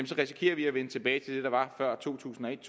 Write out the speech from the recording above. så risikerer vi at vende tilbage til det der var før to tusind og et